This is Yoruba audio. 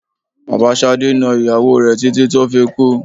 Bàbá Ṣadé na ìyàwó rẹ títí tó fi kú.